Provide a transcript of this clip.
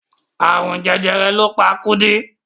Àrùn jẹjẹrẹ ló pa Kúdí.